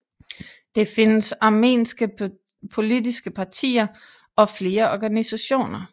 Det findes armenske politiske partier og flere organisationer